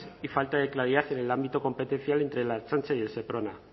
y falta de claridad en el ámbito competencial entre la ertzaintza y el seprona